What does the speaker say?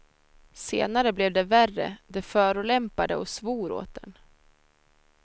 Senare blev det värre, de förolämpade och svor åt en.